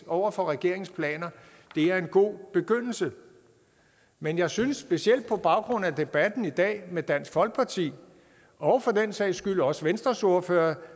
over for regeringens planer det er en god begyndelse men jeg synes specielt på baggrund af debatten i dag med dansk folkeparti og for den sags skyld også venstres ordfører at